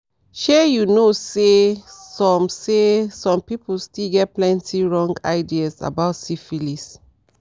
shy you no say some say some people still get plenty wrong idea about syphilis